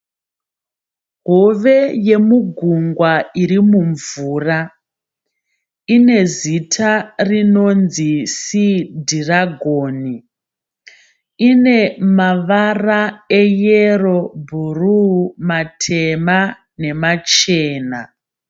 Hove yemugungwa iri mumvura. Ine zita rinonzi sii dhiragoni. Ine mavara e yero ,bhuruu, matema nemachena.